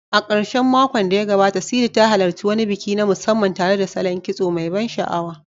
A karshen makon da ya gabata, Sidi ta halarci wani biki na musamman tare da salon kitso mai ban sha'awa.